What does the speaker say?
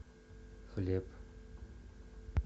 хлеб